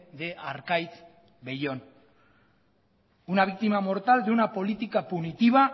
de arkaitz bellón una víctima mortal de una política punitiva